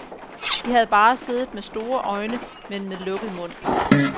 De havde bare siddet med store øjne, men med lukket mund.